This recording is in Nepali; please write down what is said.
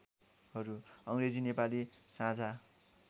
अङ्ग्रेजी नेपाली साझा